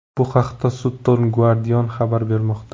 Bu haqda Sutton Guardian xabar bermoqda .